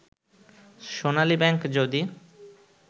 সোনালী bank যদি